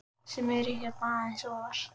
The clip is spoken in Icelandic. sem eru hérna aðeins ofar.